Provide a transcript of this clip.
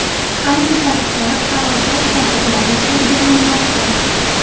Ayni paytda halokat sabablari o‘rganilmoqda.